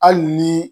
Hali ni